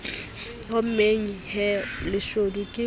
hommeng he leshodu ke le